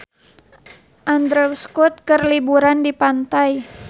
Andrew Scott keur liburan di pantai